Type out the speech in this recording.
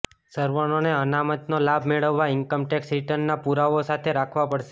સવર્ણોને અનામતનો લાભ મેળવવા ઈન્કમ ટેક્સ રિટર્નના પુરાવાઓ સાથે રાખવા પડશે